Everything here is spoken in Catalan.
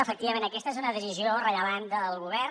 efectivament aquesta és una decisió rellevant del govern